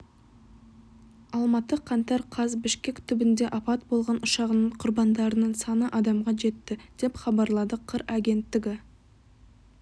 алматы қаңтар қаз бішкек түбінде апат болған ұшағының құрбандарының саны адамға жетті деп хабарлады қыр агенттігі